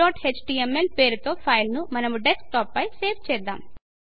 searchఎచ్టీఎంఎల్ పేరుతో ఫైల్ ను మనము డెస్క్టాప్ పై సేవ్ చేద్దాము